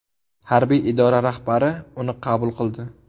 Harbiy idora rahbari uni qabul qildi.